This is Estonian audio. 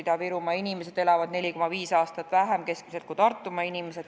Ida-Virumaa inimesed elavad keskmiselt 4,5 aastat vähem kui Tartumaa inimesed.